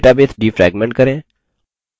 database defragment करें